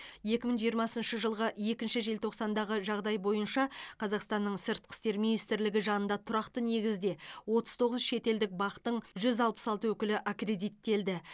екі мың жиырмасыншы жылғы екінші желтоқсандағы жағдай бойынша қазақстанның сыртқы істер министрлігінде жанында тұрақты негізде отыз тоғыз шетелдік бақ тың жүз алпыс алты өкілі аккредиттелді